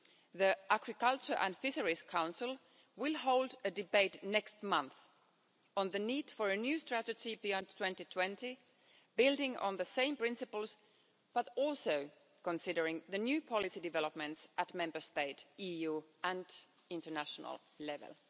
The Agriculture and Fisheries Council will hold a debate next month on the need for a new strategy beyond 2020, building on the same principles but also considering the new policy developments at Member State, EU and international level.